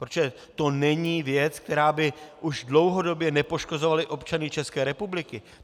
Protože to není věc, která by už dlouhodobě nepoškozovala občany České republiky.